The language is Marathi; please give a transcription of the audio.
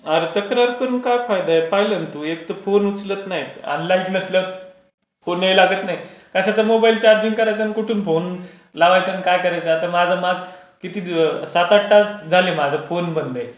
अरे तक्रार करून काय फायदा आहे पाहिलं ना तू? एक तर फोन उचलत नाही. आणि लाईट नसल्यावर फोन नाही लागत नाही. कशाचा मोबाईल चार्जिंग करायचा आणि कुठून फोन लावायचा आणि काय करायचं? आता माझं किती सात आठ